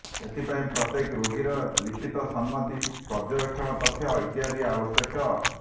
ଏଥିପାଇଁ ପ୍ରତ୍ୟେକ ରୋଗୀର ଲିଖିତ ସମ୍ମତି ପର୍ଯ୍ୟବେକ୍ଷଣ ତଥ୍ୟ ଇତ୍ୟାଦି ଆବଶ୍ୟକ